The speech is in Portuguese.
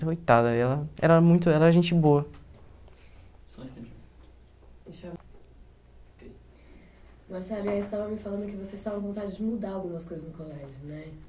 Coitada, ela era era gente boa. Marcelo, e aí você estava me falando que você estava com vontade de mudar algumas coisas no colégio, né?